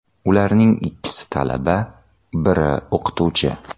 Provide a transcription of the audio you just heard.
Ularning ikkisi talaba, biri o‘qituvchi.